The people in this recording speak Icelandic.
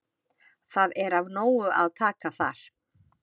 Það er af nógu að taka þar.